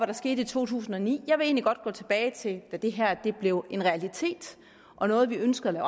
der skete i to tusind og ni jeg vil egentlig godt gå tilbage til da det her blev en realitet og noget vi ønskede at